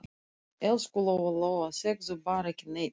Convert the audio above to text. Elsku Lóa-Lóa, segðu bara ekki neitt.